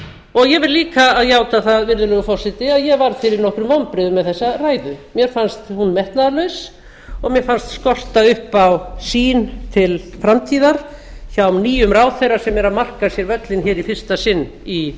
og ég verð líka að játa það virðulegur forseti að ég varð fyrir nokkrum vonbrigðum með þessa ræðu mér fannst hún metnaðarlaus og mér fannst skorta upp á sýn til framtíðar hjá nýjum ráðherra sem er að marka sér völlinn hér í fyrsta sinn í